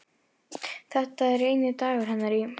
Þetta er eini dagur hennar í